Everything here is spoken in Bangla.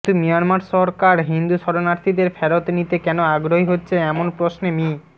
কিন্তু মিয়ানমার সরকার হিন্দু শরণার্থীদের ফেরত নিতে কেন আগ্রহী হচ্ছে এমন প্রশ্নে মি